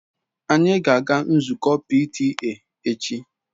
Anyị ga-aga nzukọ PTA echi.